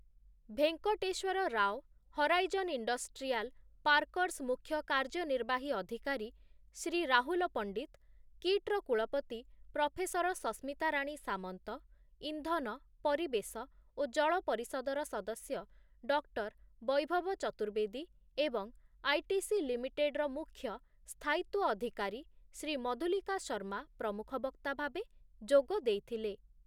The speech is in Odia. ଭେଙ୍କଟେଶ୍ୱର ରାଓ, ହରାଇଜନ୍ ଇଣ୍ଡଷ୍ଟ୍ରିଆଲ ପାର୍କରସ୍ ମୁଖ୍ୟ କାର୍ଯ୍ୟନିର୍ବାହୀ ଅଧିକାରୀ ଶ୍ରୀ ରାହୁଲ ପଣ୍ଡିତ, କିଟ୍ ର କୁଳପତି ପ୍ରଫେସର ସସ୍ମିତା ରାଣୀ ସାମନ୍ତ, ଇନ୍ଧନ, ପରିବେଶ ଓ ଜଳ ପରିଷଦର ସଦସ୍ୟ ଡକ୍ଟର ବୈଭବ ଚତୁର୍ବେଦୀ ଏବଂ ଆଇଟିସି ଲିମିଟେଡର ମୁଖ୍ୟ ସ୍ଥାୟିତ୍ୱ ଅଧିକାରୀ ଶ୍ରୀ ମଧୁଲିକା ଶର୍ମା ପ୍ରମୁଖ ବକ୍ତା ଭାବେ ଯୋଗ ଦେଇଥିଲେ ।